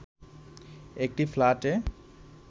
একটি ফ্ল্যাটে